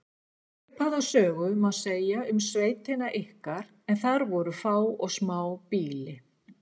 Svipaða sögu má segja um sveitina ykkar en þar voru fá og smá býli.